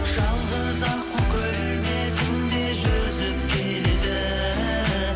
жалғыз аққу көл бетінде жүзіп келеді